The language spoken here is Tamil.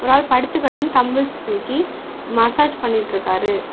ஒரு ஆள் படுத்துகடந் தம்புள்ஸ் தூக்கி மசாஜ் பண்ணிட்ருக்காரு.